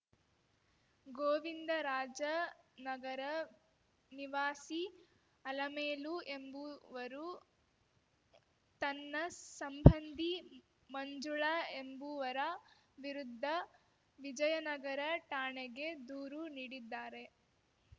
ಗೋವಿಂದರಾಜನಗರ ನಿವಾಸಿ ಅಲಮೇಲು ಎಂಬುವರು ತನ್ನ ಸಂಬಂಧಿ ಮಂಜುಳಾ ಎಂಬುವರ ವಿರುದ್ಧ ವಿಜಯನಗರ ಠಾಣೆಗೆ ದೂರು ನೀಡಿದ್ದಾರೆ